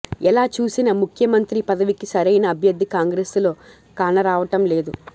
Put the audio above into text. ఎలా చూసినా ముఖ్యమంత్రి పదవికి సరైన అభ్యర్థి కాంగ్రెసులో కానరావటం లేదు